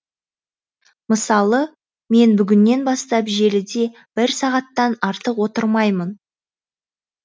мысалы мен бүгіннен бастап желіде бір сағаттан артық отырмаймын